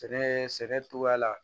Sɛnɛ sɛnɛ cogoya la